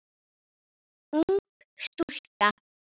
Ég hef staðið mig vel.